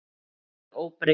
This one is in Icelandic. Það verður óbreytt.